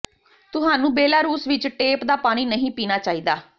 ਤੁਹਾਨੂੰ ਬੇਲਾਰੂਸ ਵਿੱਚ ਟੇਪ ਦਾ ਪਾਣੀ ਨਹੀਂ ਪੀਣਾ ਚਾਹੀਦਾ